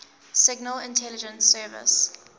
signal intelligence service